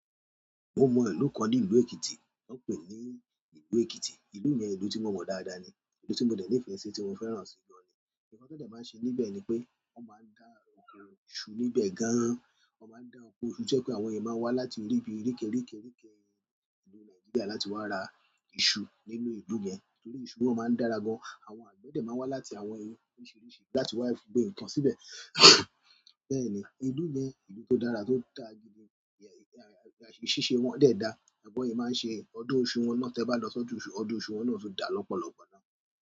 Mo mọ ìlú kan ní ìlú Èkìtì, wọ́n ń pè ní ìlú Èkìtì. Ìlú yẹn ìlú tí mo mọ̀ dáadáa ni, ìlú tí mo dẹ̀ ńi fẹ̀ sí, tí mo fẹ́ràn sì gan-an ni. Nkàn tí wọ́n dẹ̀ máa ń ṣe níbẹ̀ ni pé wọ́n máa ń dá oko iṣù níbẹ̀ gan-an, wọ́n máa ń dá oko iṣù to jẹ́ pé àwọn èèyàn máa wá láti ibi oríkériké ìlú Nàìjíríà láti wá ra iṣu nínú ìlú yẹn. Nítorí iṣu wọn máa ń dára gan-an. Àwọn àgbẹ̀ dẹ̀ máa wá láti àwọn ìlú oríṣiríṣi láti wá gbin nǹkan síbẹ̀. Bẹ́ẹ̀ ni, ìlú yẹn ìlú tó dára, tó ń dàa gidi ni ìṣẹse wọn dẹ̀ dáa, bi wọn máa ń ṣe. Ọdún iṣu wọn náà, tẹ ba lọ si ọdún iṣu wọn o daa lọpọlọpọ.